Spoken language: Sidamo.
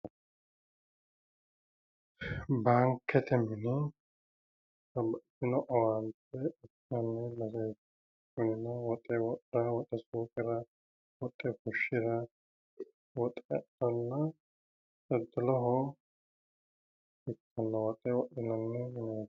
Baankete mine babbaxxitino owaante uyinanni. Mannu woxe wodhawo. Woxe suuqirawo. Woxe fushshirawo. Woxehonna daddaloho ikkinno woxe wodhinanni mineeti.